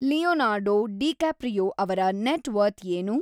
Leonardo DiCaprio ಅವರ net worth ಏನು